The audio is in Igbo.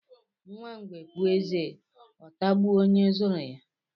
Nwa ngwe puo eze ọ tagbuo ónyé zuru ya.